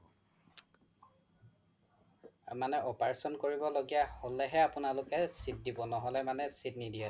মানে operation কৰিব লগিয়া হ্'লে হে মানে আপোনালোকে seat দিব ন্হ্'লে মানে seat নিদিয়ে